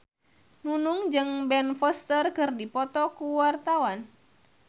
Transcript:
Nunung jeung Ben Foster keur dipoto ku wartawan